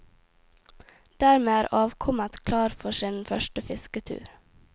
Dermed er avkommet klar for sin første fisketur.